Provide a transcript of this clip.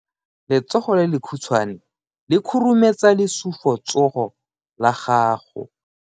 Letsogo le lekhutshwane le khurumetsa lesufutsogo la gago.